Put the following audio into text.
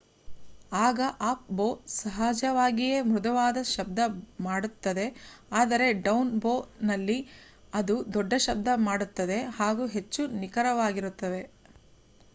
ಆಗ ಅಪ್-ಬೋ ಸಹಜವಾಗಿಯೇ ಮೃದುವಾದ ಶಬ್ದ ಮಾಡುತ್ತದೆ ಆದರೆ ಡೌನ್ ಬೋ ನಲ್ಲಿ ಅದು ದೊಡ್ಡ ಶಬ್ದ ಮಾಡುತ್ತದೆ ಹಾಗೂ ಹೆಚ್ಚು ನಿಖರವಾಗಿರುತ್ತದೆ